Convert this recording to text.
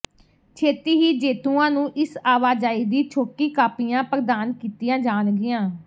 ਛੇਤੀ ਹੀ ਜੇਤੂਆਂ ਨੂੰ ਇਸ ਆਵਾਜਾਈ ਦੀ ਛੋਟੀ ਕਾਪੀਆਂ ਪ੍ਰਦਾਨ ਕੀਤੀਆਂ ਜਾਣਗੀਆਂ